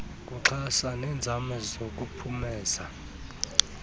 kuxhasa neenzame zokuphumeza